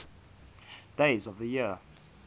days of the year